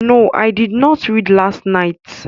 No, I did not read last night